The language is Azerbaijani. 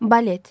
Balet.